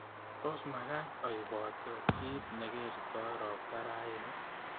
Tos magaat aiipote kiit negertoi ropta raini